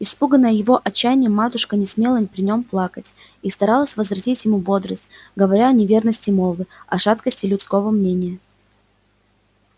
испуганная его отчаянием матушка не смела при нём плакать и старалась возвратить ему бодрость говоря о неверности молвы о шаткости людского мнения